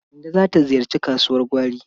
Kande za ta ziyarci kasuwar gwari.